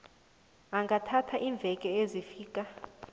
ingathatha iimveke ezifika